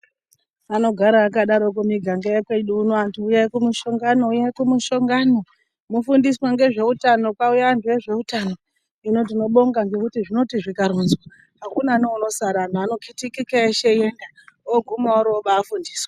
Anogara akadaroko miganga yekwedu uno antu uyai kumushongano uyai kumushongano mofundiswa ngezveutano kwauya antu ezveutano ,hino tinobonga ngekuti zvinoti zvikaronzwa akuna neunosara anhu ano kitikika eshe eiyenda oguma orobafundiswa.